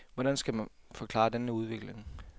Hvordan skal man forklare denne udvikling?